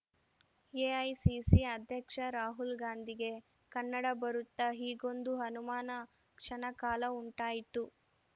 AICC ಅಧ್ಯಕ್ಷ ರಾಹುಲ್‌ ಗಾಂಧಿಗೆ ಕನ್ನಡ ಬರುತ್ತಾ ಹೀಗೊಂದು ಅನುಮಾನ ಕ್ಷಣ ಕಾಲ ಉಂಟಾಯಿತು